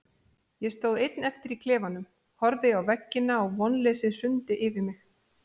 Ég stóð einn eftir í klefanum, horfði á veggina og vonleysið hrundi yfir mig.